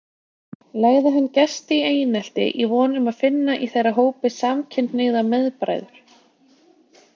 Legði hann gesti í einelti í von um að finna í þeirra hópi samkynhneigða meðbræður.